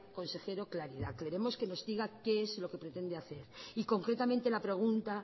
consejero claridad queremos que nos diga qué es lo qué pretende hacer y concretamente la pregunta